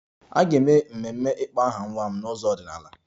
A ga-eme ememe ịkpọ aha nwa m n'ụzọ ọdịnala